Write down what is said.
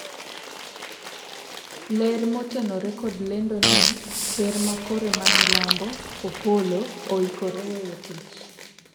ler motenore kod lendo ni ker mar Kore ma milambo Opollo oikore weyo tich